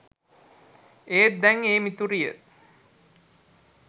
ඒත් දැන් ඒ මිතුරිය